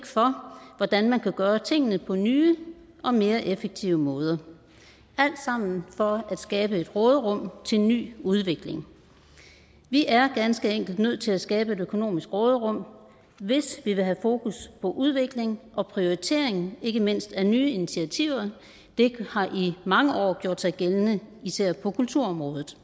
for hvordan man kan gøre tingene på nye og mere effektive måder alt sammen for at skabe et råderum til ny udvikling vi er ganske enkelt nødt til at skabe et økonomisk råderum hvis vi vil have fokus på udvikling og prioritering ikke mindst af nye initiativer det har i mange år gjort sig gældende især på kulturområdet